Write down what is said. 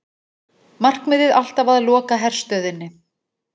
Markmiðið alltaf að loka herstöðinni